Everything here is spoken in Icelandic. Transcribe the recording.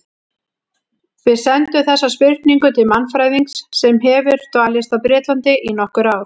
Við sendum þessa spurningu til mannfræðings sem hefur dvalist á Bretlandi í nokkur ár.